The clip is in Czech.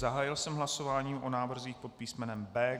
Zahájil jsem hlasování o návrzích pod písmene B.